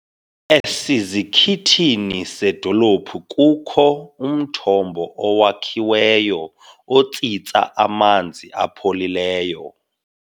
Esizikithini sedolophu kukho umthombo owakhiweyo otsitsa amanzi apholileyo.